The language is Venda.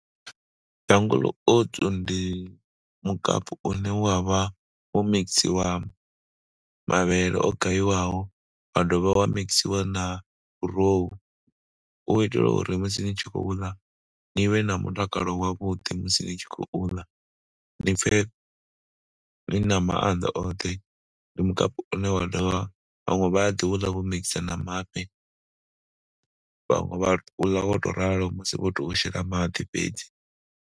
Jungle Oats ndi mukapu une wa vha wo mikisiwa mavhele o gaiwaho wa dovha wa mixiwa na gurowu hu u itela uri musi ni tshi khou ḽa ni vhe na mutakalo wavhuḓi musi ni tshi khou ḽa, ni pfhe ni na maanḓa oṱhe. Ndi mukapu une wa dovha vhaṅwe vha ḓi u ḽa vho mikisa na mafhi, vhaṅwe vha u ḽa wo tou ralo musi vho tou shela maḓi fhedzi.